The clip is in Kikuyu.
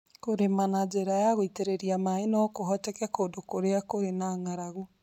Kũrĩma na njĩra ya gũteithĩrĩria maĩ no kũhoteke kũndũ kũrĩa kũrĩ na ng'aragu.